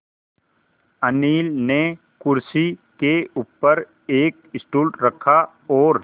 अनिल ने कुर्सी के ऊपर एक स्टूल रखा और